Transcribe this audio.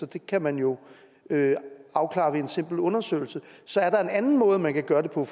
det kan man jo afklare ved en simpel undersøgelse så er der en anden måde man kan gøre det på